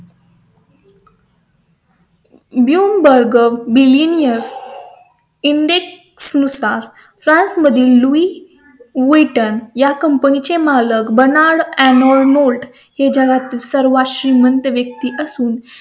blumburge billionaire index नुसार France मधील lue viton या company चे मालक बना ळून मोड हे जगातील सर्वात श्रीमंत व्यक्ती असून